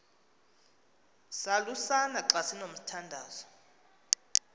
salusana xa sinomthandazo